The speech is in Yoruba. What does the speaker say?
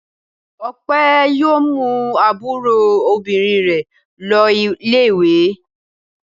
Ọpẹẹ́ yóò mú àbúrò obìnrin rẹ̀ lọ ilé-ìwé.